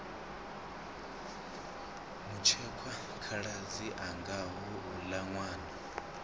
mutshekwa khaladzi anga houla nwana